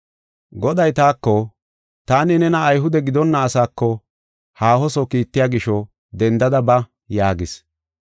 “Goday taako, ‘Taani nena Ayhude gidonna asaako haahoso kiittiya gisho dendada ba’ ” yaagis.